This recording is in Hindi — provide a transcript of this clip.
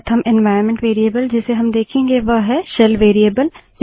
प्रथम एन्वाइरन्मेंट वेरिएबल जिसे हम देखेंगे वह है शेल वेरिएबल